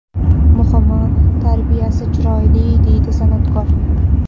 Muhimi, tarbiyasi chiroyli”, deydi san’atkor.